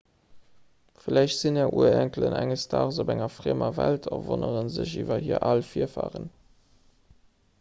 vläicht sinn är urenkelen enges daags op enger friemer welt a wonnere sech iwwer hir al virfaren